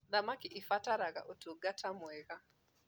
thamakĩ irabatara ũtungata mwega